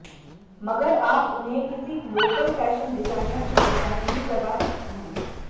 मगर आप उन्हें किसी लोकल फैशन डिजाइनर से डिजाइन भी करवा सकती हैं